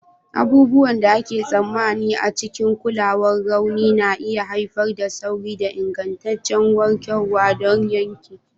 Abubuwan da ake tsammani a cikin kulawar rauni na iya haifar da sauri da ingantaccen warkarwa don yanke.